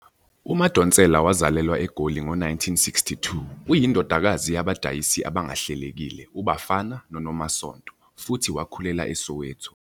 UMadonsela wazalelwa eGoli ngo-1962,uyindodakazi yabadayisi abangahlelekile iBafana neNomasonto, futhi wakhulela eSoweto.